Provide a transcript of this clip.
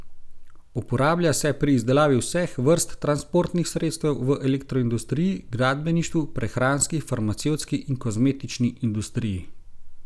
Uporablja se pri izdelavi vseh vrst transportnih sredstev, v elektroindustriji, gradbeništvu, prehranski, farmacevtski in kozmetični industriji ...